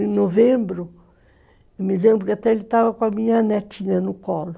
Em novembro, me lembro que até ele estava com a minha netinha no colo.